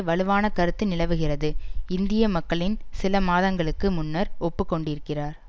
வலுவான கருத்து நிலவுகிறது இந்திய மக்களில் சில மாதங்களுக்கு முன்னர் ஒப்புக்கொண்டிருக்கிறார்